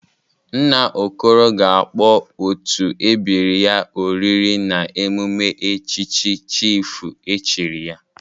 Nna Okoro ga-akpọ otu ebiri ya oriri n'emume echichi chịfụ echiri ya..